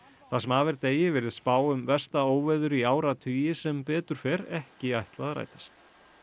það sem af er degi virðist spá um versta óveður í áratugi sem betur fer ekki ætla að rætast